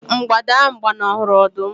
mgbada ahu gbanahụrụ ọdụm